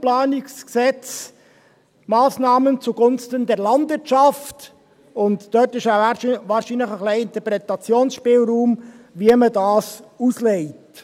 «Massnahmen zugunsten der Landwirtschaft», und dort gibt es wahrscheinlich ein bisschen Interpretationsspielraum, wie man das auslegt.